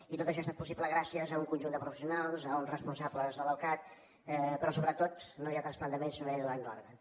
i tot això ha estat possible gràcies a un conjunt de professionals a uns responsables de l’ocatt però sobretot no hi ha trasplantaments si no hi ha donants d’òrgans